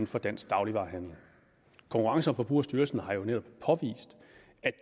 for dansk dagligvarehandel konkurrence og forbrugerstyrelsen har jo netop påvist